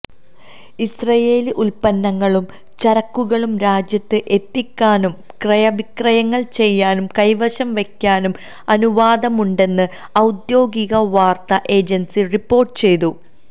Israeli ഉല്പ്പന്നങ്ങളും ചരക്കുകളും രാജ്യത്ത് എത്തിക്കാനും ക്രയവിക്രയം ചെയ്യാനും കൈവശം വെക്കാനും അനുവാദമുണ്ടെന്ന് ഔദ്യോഗിക വാര്ത്താ ഏജന്സി റിപ്പോര്ട്ട് ചെയ്തു